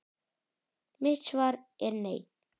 Mitt svar er nei.